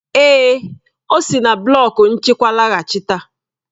Èè, ọ si na blọk nchịkwa laghachita.